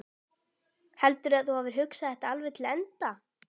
Heldurðu að þú hafir hugsað þetta alveg til enda?